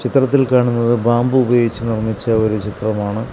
ചിത്രത്തിൽ കാണുന്നത് ബാംബു ഉപയോഗിച്ച് നിർമ്മിച്ച ഒരു ചിത്രമാണ്.